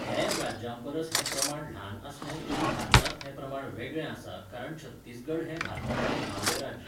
हेर राज्यांपरस हें प्रमाण ल्हान आसलें तरी भारतांत हें प्रमाण वेगळें आसा कारण छत्तीसगढ हें भारतांतलें धावें राज्य.